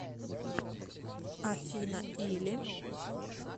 афина или